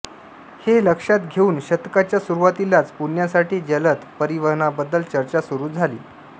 हे लक्षात घेऊन शतकाच्या सुरूवातीलाच पुण्यासाठी जलद परिवहनाबद्दल चर्चा सुरू झाली